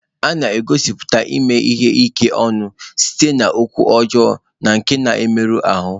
A na-egosipụta ime ihe ike ọnụ site n'okwu ọjọọ na nke na-emerụ ahụ.